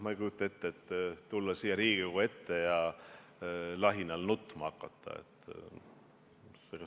Ma ei kujuta ette seda, et tulla siia Riigikogu ette ja lahinal nutma hakata.